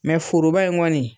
Mɛ foroba in kɔni